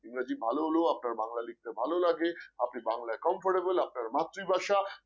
ইংরেজি ভালো হলেও আপনার বাংলা লিখতে ভালো লাগে, আপনি বাংলায় comfortable আপনার মাতৃভাষা